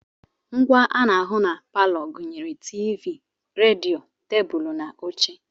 Ngwá ana ahụ na palọ gụnyere TV, redio, tebụlụ na oche.